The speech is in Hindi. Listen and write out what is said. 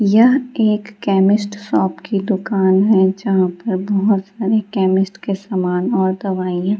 यह एक केमिस्ट शॉप की दुकान है जहाँ पर बहुत सारे केमिस्ट के सामान और दवाइयां --